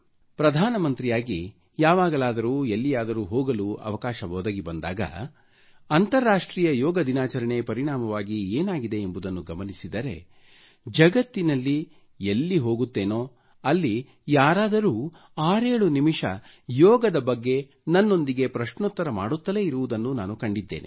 ಪ್ರಧಾನಮಂತ್ರಿಯಾಗಿ ಯಾವಾಗಲಾದರೂ ಎಲ್ಲಿಯಾದರೂ ಹೋಗಲು ಅವಕಾಶ ಒದಗಿ ಬಂದಾಗ ಅಂತರರಾಷ್ಟ್ರೀಯ ಯೋಗ ದಿನಾಚರಣೆ ಪರಿಣಾಮವಾಗಿ ಏನಾಗಿದೆ ಎಂಬುದನ್ನು ಗಮನಿಸಿದರೆ ಜಗತ್ತಿನಲ್ಲಿ ಎಲ್ಲಿ ಹೋಗುತ್ತೇನೋ ಅಲ್ಲಿ ಯಾರಾದರೂ ಆರೇಳು ನಿಮಿಷ ಯೋಗದ ಬಗ್ಗೆ ನನ್ನೊಂದಿಗೆ ಪ್ರಶ್ನೋತ್ತರ ಮಾಡುತ್ತಲೇ ಇರುವುದನ್ನು ನಾನು ಕಂಡಿದ್ದೇನೆ